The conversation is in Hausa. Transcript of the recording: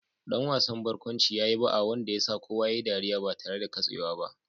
Dan wasan barkwanci ya yi ba'a wanda ya sa kowa ya yi ɗariya ba tare da katsewa ba